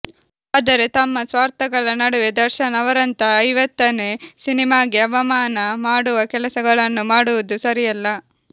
ಆದರೆ ತಮ್ಮ ಸ್ವಾರ್ಥಗಳ ನಡುವೆ ದರ್ಶನ್ ಅವರಂತ ಐವತ್ತನೇ ಸಿನಿಮಾಗೆ ಅವಮಾನ ಮಾಡುವ ಕೆಲಸಗಳನ್ನು ಮಾಡುವುದು ಸರಿಯಲ್ಲ